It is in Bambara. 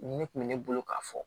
Ne kun bɛ ne bolo k'a fɔ